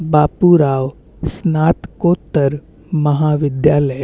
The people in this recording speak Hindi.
बापू राव स्नातकोत्तर महाविद्यालय --